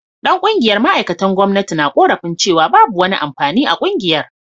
Dan kungiyar ma’aikatan gwamnati na korafin cewa babu wani amfani a kungiyar